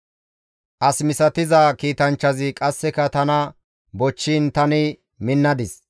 As misatiza kiitanchchazi qasseka tana bochchiin tani minnadis.